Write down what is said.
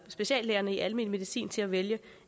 speciallægerne i almen medicin til at vælge